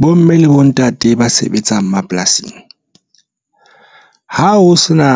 Bomme le bontate ba sebetsang mapolasing ha ho sena